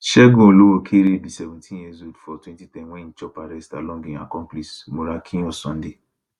segun olowookere be seventeenyears old for 2010 wen e chop arrest along im accomplice morakinyo sunday